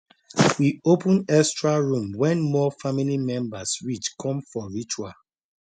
we open extra room when more family members reach come for ritual